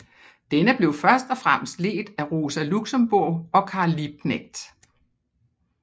Denne blev først og fremmest ledt af Rosa Luxemburg og Karl Liebknecht